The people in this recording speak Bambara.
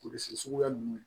Kurusi suguya ninnu